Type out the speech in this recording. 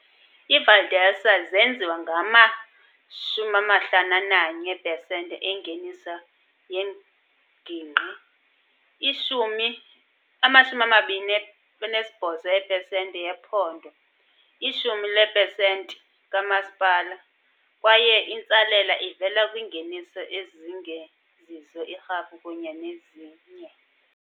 IiValdelsa zenziwa ngama-51 eepesenti engeniso yengingqi, i-10 ama-28 eepesenti yephondo, i-10 leepesenti kamasipala, kwaye intsalela ivela kwiingeniso ezingezizo irhafu kunye nezinye.